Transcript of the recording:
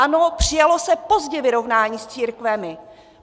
Ano, přijalo se pozdě vyrovnání s církvemi.